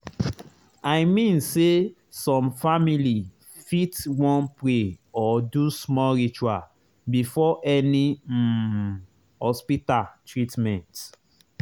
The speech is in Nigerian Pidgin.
i mean say some family fit wan pray or do small ritual before any um hospita treatment